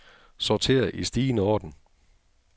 Sorter i stigende orden.